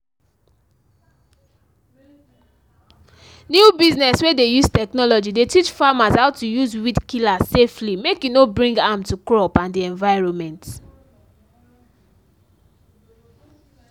new business wey de use technology de teach farmers how to use weed killer safely make e no bring harm to crop and de environment